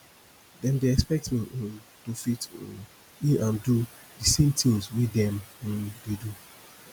dem dey expect me um to fit um in and do di same things wey dem um dey do